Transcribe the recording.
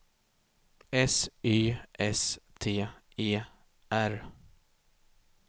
S Y S T E R